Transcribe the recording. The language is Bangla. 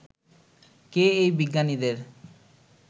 কে এই বিজ্ঞানীদের